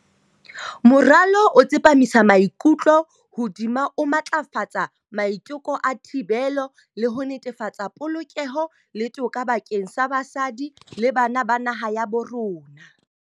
Moralo o tsepamisa maikutlo hodima ho matlafatsa maiteko a thibelo, le ho netefatsa polokeho le toka bakeng sa basadi le bana ba naha ya bo rona.